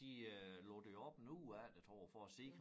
De øh lukkede det jo op en uge efter tror jeg for at se